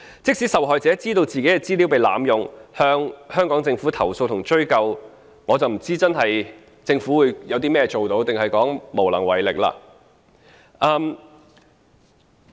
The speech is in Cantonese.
即使受害者知道自己的資料被濫用，向香港政府投訴及追究，但我不知道政府可以做甚麼，還是會說無能為力？